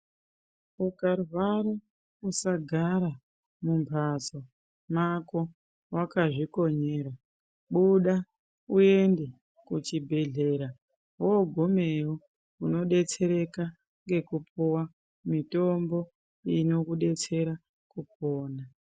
Ukarwara usagara mumhatso mwako wakazvikonyera. Buda uende kuchibhedhleya, woogumayo unodetsereka ngekupuwe mitombo nokudetsera kupona.